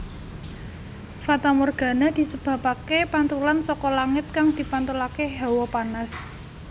Fatamorgana disebabaké pantulan saka langit kang dipantulaké hawa panas